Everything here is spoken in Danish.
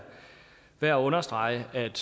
værd at understrege at